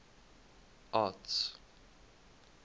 arts